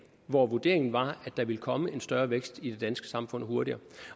hvor vurderingen var at der ville komme en større vækst i det danske samfund hurtigere